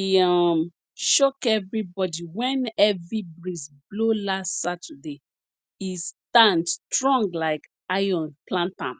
e um shock everybody when heavy breeze blow last saturday e stand strong like iron plantam